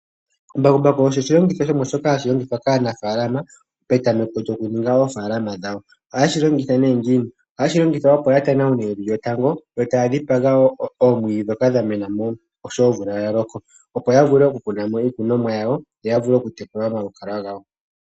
Mbakumbaku osho oshilongitho shimwe shono hashi longithwa kaanafalama petameko lyokuninga oofalama dhawo ohaye shilongitha nee ngiini? ohashi longitha opo yatanaune evi lyotango yotaadhipaga wo oomwidhi dhoka dha mena osho omvula ya loko opo ya vule okukuna mo iikunomwa yawo yo ya vule okutekula omaluvalo gawo.